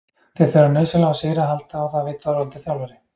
Þeir þurfa nauðsynlega á sigri að halda og það veit Þorvaldur þjálfari.